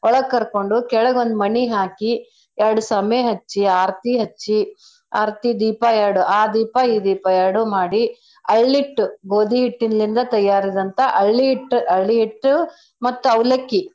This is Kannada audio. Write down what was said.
ಒಳಗ್ ಕರ್ಕೊಂಡು ಕೆಳಗ್ ಒಂದ್ ಮಣಿ ಹಾಕಿ ಎರ್ಡ್ ಸಮೆ ಹಚ್ಚಿ ಆರ್ತಿ ಹಚ್ಚಿ ಆರ್ತಿ ದೀಪ ಎರ್ಡ ಆ ದೀಪ ಈ ದೀಪ ಎರ್ಡು ಮಾಡಿ ಅಳ್ಳಿಟ್ಟು ಗೋದಿ ಹಿಟ್ಟಿನ್ಲಿಂದ ತಯಾರದಂತ ಅಳ್ಳಿಹಿಟ್ಟು ಅಳ್ಳಿಹಿಟ್ಟು ಮತ್ತ ಅವ್ಲಕ್ಕಿ.